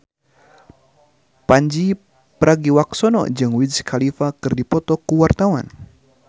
Pandji Pragiwaksono jeung Wiz Khalifa keur dipoto ku wartawan